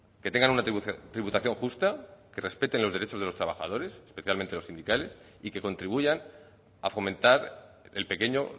que tengan una tributación justa que respeten los derechos de los trabajadores especialmente los sindicales y que contribuyan a fomentar el pequeño